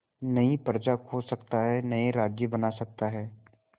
नई प्रजा खोज सकता है नए राज्य बना सकता है